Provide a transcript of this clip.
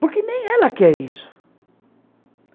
Porque nem ela quer isso.